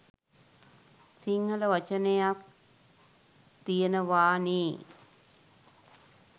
සිංහල වචනයක් තියෙනවා නේ.